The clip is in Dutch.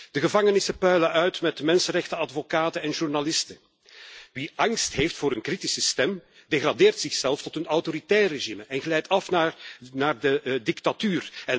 De gevangenissen puilen uit met mensenrechtenadvocaten en journalisten. Wie angst heeft voor een kritische stem, degradeert zichzelf tot een autoritair regime en glijdt af naar de dictatuur.